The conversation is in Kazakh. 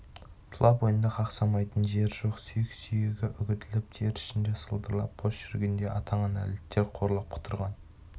тұла бойында қақсамайтын жер жоқ сүйек-сүйегі үгітіліп тері ішінде сылдырап бос жүргендей атаңа нәлеттер қорлап құтырған